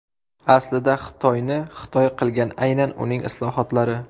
Aslida Xitoyni Xitoy qilgan aynan uning islohotlari.